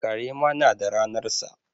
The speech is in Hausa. Kare ma na da ranarsa.